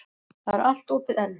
Það er allt opið enn.